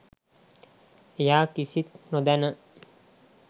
එයා කිසිත් නොදැන